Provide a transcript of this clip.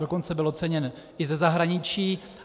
Dokonce byl oceněn i ze zahraničí.